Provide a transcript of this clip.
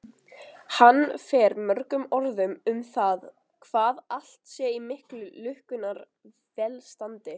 Hann fer mörgum orðum um það hvað allt sé í miklu lukkunnar velstandi.